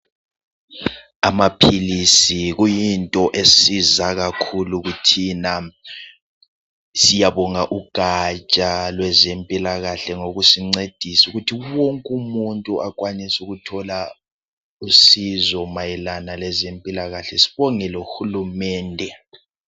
Amaphilisi kuyinto esiza kakhulu thina .Siyabonga ugaja lwezempilakahle ngokusincedisa ukuthi wonkumuntu akwanise ukuthola usizo mayelana lezempilakahle, sibonge lohulumende.